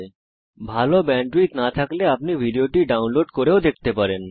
যদি ভাল ব্যান্ডউইডথ না থাকে তাহলে আপনি ভিডিও টি ডাউনলোড করে দেখতে পারেন